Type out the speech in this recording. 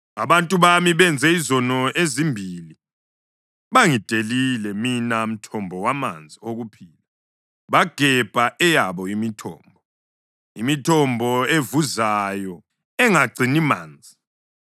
“Abantu bami benze izono ezimbili: Bangidelile, mina mthombo wamanzi okuphila, bagebha eyabo imithombo, imithombo evuzayo engagcini manzi.